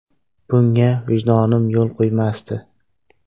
Bunga vijdonim yo‘l qo‘ymasdi.